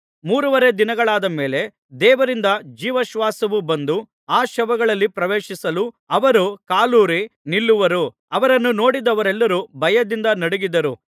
ಮೂರುವರೆ ದಿನಗಳಾದ ಮೇಲೆ ದೇವರಿಂದ ಜೀವಶ್ವಾಸವು ಬಂದು ಆ ಶವಗಳಲ್ಲಿ ಪ್ರವೇಶಿಸಲು ಅವರು ಕಾಲೂರಿ ನಿಲ್ಲುವರು ಅವರನ್ನು ನೋಡಿದವರೆಲ್ಲರೂ ಭಯದಿಂದ ನಡುಗಿದರು